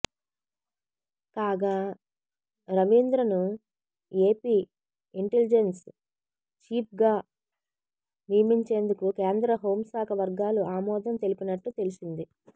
కాగా రవీంద్రను AP intelligence చీఫ్గా నియమించేందుకు కేంద్ర హోంశాఖ వర్గాలు ఆమోదం తెలిపినట్లు తెలిసింది